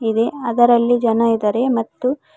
ಇದೆ ಅದರಲ್ಲಿ ಜನ ಇದಾರೆ ಮತ್ತು--